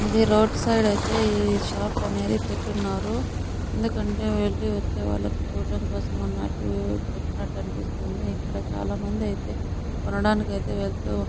ఇది రోడ్డు సైడే అనేది షాప్ అయితే పెట్టునారు. ఎందుకంటె వెళ్లి ఒచ్చేవాళ్లకు చూడటానికి కోసం అన్నట్టు పెట్టినట్టు అనిపిస్తుంది. ఇక్కడ చాల మంది అయితే కొనడానికి అయితే వెళ్తూ --